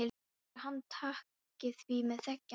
Heldurðu að hann taki því með þegjandi þögninni?